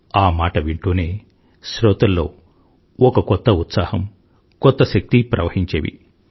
ఆ మాట వింటూనే శ్రోతల్లో ఒక కొత్త ఉత్సాహం కొత్త శక్తి ప్రవహించేవి